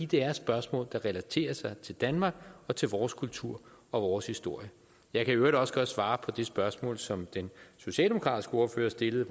det er spørgsmål der relaterer sig til danmark og til vores kultur og vores historie jeg kan i øvrigt også godt svare på det spørgsmål som den socialdemokratiske ordfører stillede